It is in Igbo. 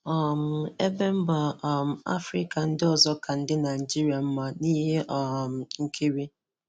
um Ebe mbà um Afrịka ndị ọzọ ka ndị Naịjirịa mma n'ihe um nkiri